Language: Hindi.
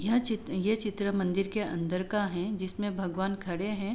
यह चित्र ये चित्र मंदिर के अंदर का है जिसमें भगवान खड़े हैं।